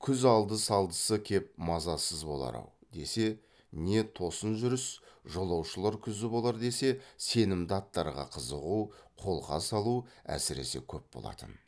күз алды салдысы кеп мазасыз болар ау десе не тосын жүріс жолаушылар күзі болар десе сенімді аттарға қызығу қолқа салу әсіресе көп болатын